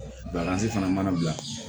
fana mana bila